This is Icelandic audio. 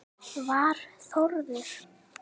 Var Þórður